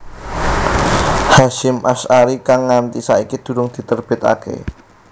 Hasyim Asy ari kang nganti saiki durung diterbitaké